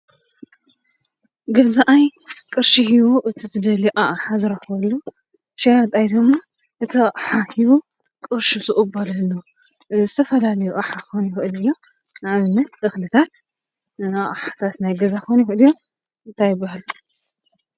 ገዛኣይ ቅርሺ ሂቡ እቲ ዝደልዮ ኣቕሓ ዝረኽበሉ ሸያጣይ ድማ እቲ ኣቕሓ ሂቡ ቅርሹ ዝቕበለሉ ዝተፈላለየ ኣቕሓ ክኸውን ይኽእል እዩ ። ንኣብነት እኽልታት፣ ኣቕሓታት ናይ ገዛ ክኸውን ይኽእል እዩ ።ታይ ይበሃል?